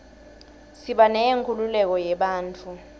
siba neyenkhululeko yebantfu